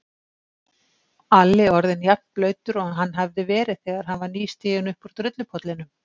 Alli orðinn jafnblautur og hann hafði verið þegar hann var nýstiginn uppúr drullupollinum.